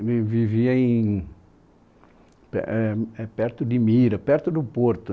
Ele vivia em, éh pe é perto de Mira, perto do Porto.